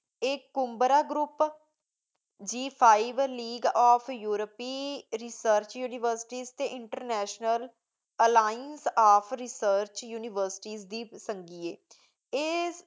ਏਕ ਉਬਰਨ Group ਜੀ ਪੈ ਲੇਆਦ ਓਫ਼ ਉਰਿਪੇ research university internal line of research university ਵੇ ਚੰਗੀ ਆਯ ਆਯ